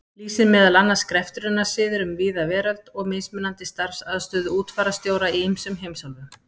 lýsir meðal annars greftrunarsiðum um víða veröld og mismunandi starfsaðstöðu útfararstjóra í ýmsum heimsálfum.